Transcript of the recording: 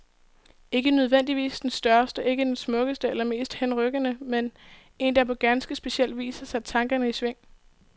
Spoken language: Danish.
Ikke nødvendigvis den største, ikke den smukkeste eller mest henrykkende, men en der på ganske speciel vis har sat tankerne i sving.